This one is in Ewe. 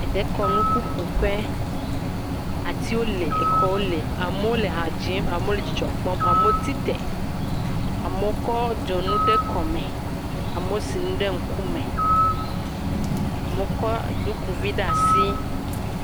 dekɔnu ƒuƒoƒe atiwo le exɔwo le amowo le ha dzim amowo le dzidzɔ kpɔm amowo tite amowo kɔ dzonu kɔ de kɔme amowo sinu ɖe ŋkume amowo kɔ ɖukivi ɖa'sii